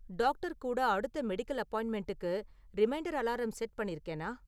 Doctor கூட அடுத்த medical அப்பாயின்ட்மெண்ட்டுக்கு ரிமைண்டர் அலாரம் செட் பண்ணிருக்கேனா?